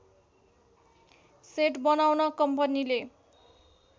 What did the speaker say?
set बनाउन कम्पनीले